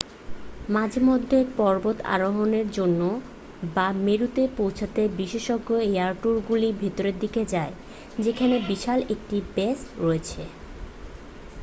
মাঝেমধ্যে পর্বতারোহণের জন্য বা মেরুতে পৌঁছতে বিশেষজ্ঞ এয়ার ট্যুরগুলি ভেতরের দিকে যায় যেখানে বিশাল একটি বেস রয়েছে